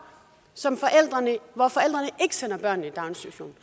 som forældrene ikke sender i daginstitution